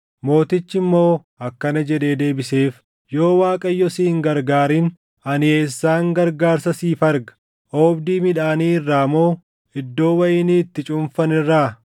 Mootichi immoo akkana jedhee deebiseef; “Yoo Waaqayyo si hin gargaarin ani eessaan gargaarsa siif arga? Oobdii midhaanii irraa moo? Iddoo wayinii itti cuunfan irraa?”